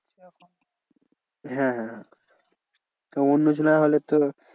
হ্যাঁ হ্যাঁ হ্যাঁ অন্য জনার হলে তো